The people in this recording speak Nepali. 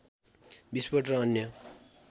विस्फोट र अन्य